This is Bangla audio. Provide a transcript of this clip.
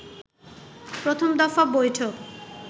প্রথম দফা বৈঠক